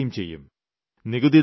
അതുണ്ടാവുകയും ചെയ്യും